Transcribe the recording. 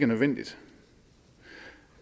nødvendigt